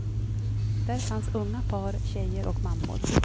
Där fanns unga par, tjejer och mammor.